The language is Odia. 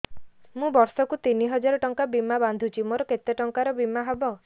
ମୁ ବର୍ଷ କୁ ତିନି ହଜାର ଟଙ୍କା ବୀମା ବାନ୍ଧୁଛି ମୋର କେତେ ଟଙ୍କାର ବୀମା ହବ